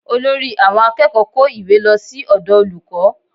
Olórí àwọn akẹ́kọ̀ọ́ kó ìwé lọ sí ọ̀dọ̀ olùkọ́